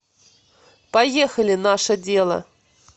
поехали наше дело